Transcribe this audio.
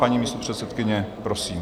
Paní místopředsedkyně, prosím.